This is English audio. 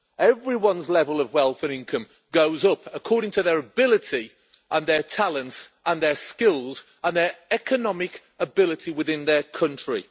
Everyone's level of wealth and income goes up according to their ability and their talents and their skills and their economic ability within their country.